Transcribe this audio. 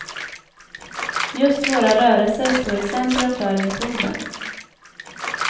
Just våra rörelser står i centrum för metoden.